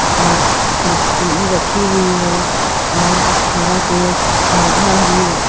और कुर्सी रखी हुई है और हरा पेड़ पौधा भी है।